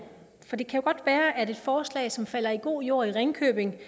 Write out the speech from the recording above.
for det kan jo godt være at et forslag som falder i god jord i ringkøbing